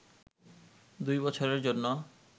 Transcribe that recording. দুই বছরের জন্য